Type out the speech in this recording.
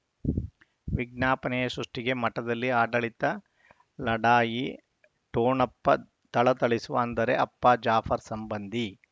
ವಿಜ್ಞಾಪನೆ ಸೃಷ್ಟಿಗೆ ಮಠದಲ್ಲಿ ಆಡಳಿತ ಲಢಾಯಿ ಠೊಣಪ್ಪ ಥಳಥಳಿಸುವ ಅಂದರೆ ಅಪ್ಪ ಜಾಫರ್ ಸಂಬಂಧಿ